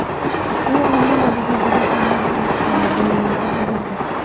U omma oldiga juda kamdan-kam chiqadi, deyiladi xabarda.